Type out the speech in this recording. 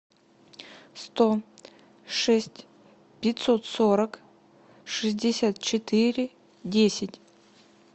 сто шесть пятьсот сорок шестьдесят четыре десять